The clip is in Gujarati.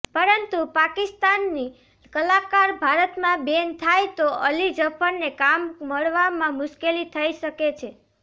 પરંતુ પાકિસ્તાની કલાકાર ભારતમાં બૅન થાય તો અલી ઝફરને કામ મળવામાં મુશ્કેલી થઇ શકે છે